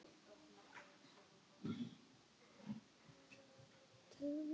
Hann kinkaði kolli alvarlegur í bragði.